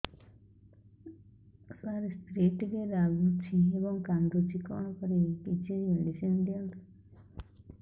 ସାର ସ୍ତ୍ରୀ ଟିକେ ରାଗୁଛି ଏବଂ କାନ୍ଦୁଛି କଣ କରିବି କିଛି ମେଡିସିନ ଦିଅନ୍ତୁ